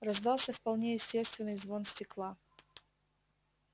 раздался вполне естественный звон стекла